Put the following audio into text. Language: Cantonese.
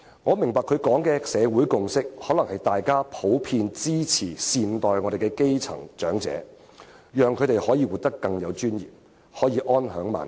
我明白他所說的"社會共識"，是指大家普遍支持應好好照顧基層的長者，讓他們可以活得更有尊嚴，並能安享晚年。